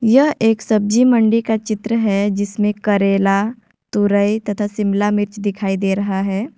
यह एक सब्जी मंडी का चित्र है जिसमें करेला तुरई तथा शिमला मिर्च दिखाई दे रहा है।